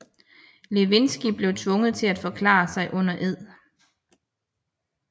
Lewinsky blev tvunget til at forklare sig under ed